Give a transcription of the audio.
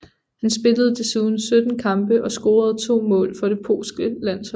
Han spillede desuden 17 kampe og scorede to mål for det polske landshold